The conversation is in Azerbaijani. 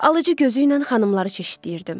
Alıcı gözü ilə xanımları çeşidləyirdim.